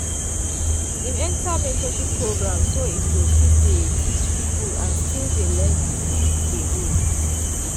im enter mentorship program so im go fit dey teach people and still dey learn dey go